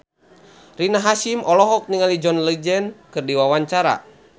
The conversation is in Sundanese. Rina Hasyim olohok ningali John Legend keur diwawancara